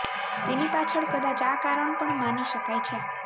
તેની પાછળ કદાચ આ કારણ પણ માની શકાય છે